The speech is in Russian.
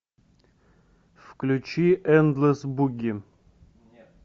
включи эндлес буги